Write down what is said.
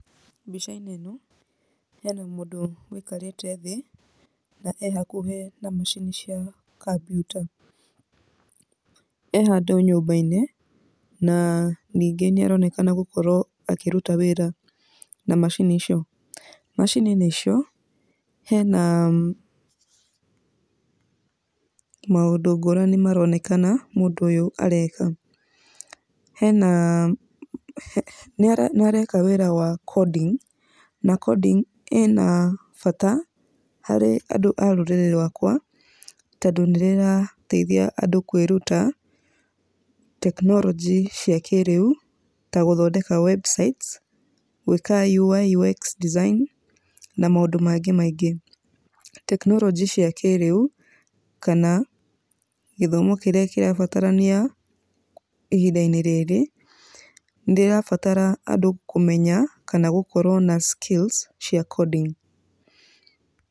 Mbicainĩ ĩno hena mũndũ ũikarĩte thĩ, na ehakuhĩ na maacini cia kompiuta. E handũ nyũmbainĩ, na ningĩ nĩaronekana gũkorwo akĩruta wĩra na maacini icio. Maacini-inĩ icio, hena maũndũ ngũrani maroonekana mũndũ ũyũ areka. Nĩareka wĩra wa coding na coding ĩna bata harĩ andũ a rũrĩrĩ rũakwa tondũ nĩ ĩrateithia andũ kwĩruta tekinoronjĩ cia kĩrĩu, ta gũthondeka Websites gwika UI UX design na maũndũ mangĩ maingĩ. Tkinoronjĩ cia kĩrĩu kana githomo kĩrĩa kĩrabatarania ihindainĩ rĩrĩ nĩ ĩrabatara andũ kũmenya kana gũkorwo na skills cia coding.